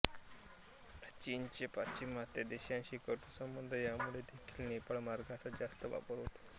चीनचे पाश्चिमात्य देशांशी कटू संबंध यामुळे देखील नेपाळ मार्गाचा जास्त वापर होतो